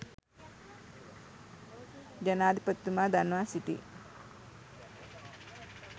ජනාධිපතිතුමා දන්වා සිටී.